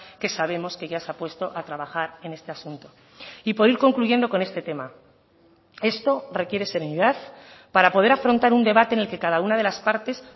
que sabemos que ya se ha puesto a trabajar en este asunto y por ir concluyendo con este tema esto requiere serenidad para poder afrontar un debate en el que cada una de las partes